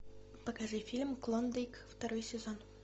покажи фильм клондайк второй сезон